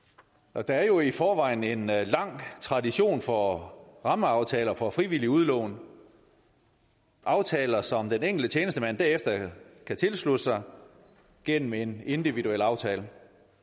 der er jo i forvejen en tradition for rammeaftaler for frivillige udlån aftaler som den enkelte tjenestemand derefter kan tilslutte sig gennem en individuel aftale